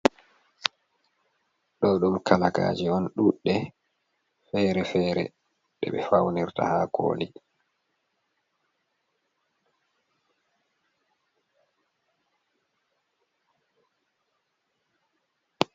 Ɗo ɗum kalaka je on ɗuɗɗe fere-fere de be faunirta ha koli.